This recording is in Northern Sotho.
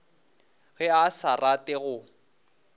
ge a sa rate go